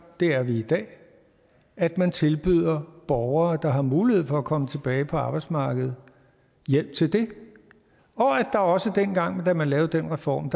og det er vi i dag at man tilbyder borgere der har mulighed for at komme tilbage på arbejdsmarkedet hjælp til det og der var også dengang da man lavede den reform